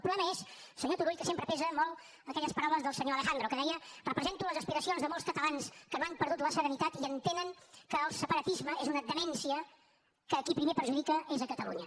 el problema és senyor turull que sempre pesen molt aquelles paraules del senyor alejandro que deia represento les aspiracions de molts catalans que no han perdut la serenitat i entenen que el separatisme és una demència que a qui primer perjudica és a catalunya